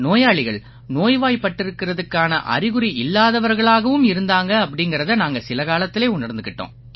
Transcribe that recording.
நோயாளிகள் நோய்வாய்ப்பட்டிருக்கறதுக்கான அறிகுறி இல்லாதவர்களாவும் இருந்தாங்க அப்படீங்கறதை நாங்க சில காலத்திலே உணர்ந்துக்கிட்டோம்